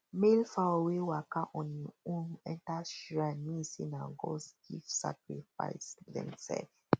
male fowl wey waka on hin own enter shrine mean say nah gods give sacrifice demsef